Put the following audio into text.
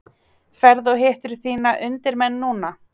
Ferðu og hittir þína undirmenn núna?